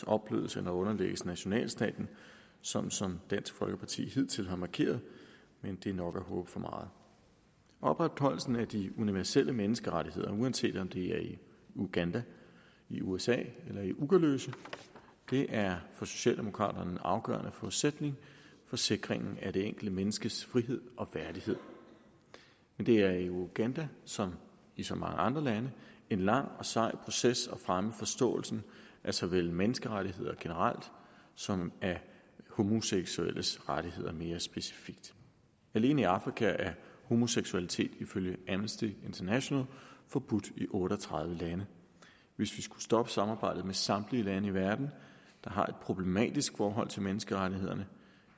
opblødes eller underlægges nationalstaten sådan som dansk folkeparti hidtil har markeret men det er nok at håbe for meget opretholdelsen af de universelle menneskerettigheder uanset om det er i uganda i usa eller uggeløse er for socialdemokraterne en afgørende forudsætning for sikringen af det enkelte menneskes frihed og værdighed men det er i uganda som i så mange andre lande en lang og sej proces at fremme forståelsen for såvel menneskerettighederne generelt som de homoseksuelles rettigheder mere specifikt alene i afrika er homoseksualitet ifølge amnesty international forbudt i otte og tredive lande hvis vi skulle stoppe samarbejdet med samtlige lande i verden der har et problematisk forhold til menneskerettighederne